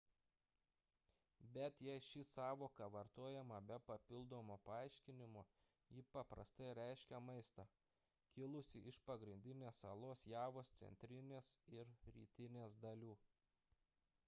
bet jei ši sąvoka vartojama be papildomo paaiškinimo ji paprastai reiškia maistą kilusį iš pagrindinės salos javos centrinės ir rytinės dalių